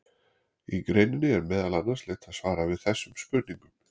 Í greininni er meðal annars leitað svara við þessum spurningum.